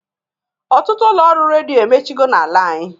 Ọtụtụ ụlọ ọrụ redio emechigo na-ala anyị.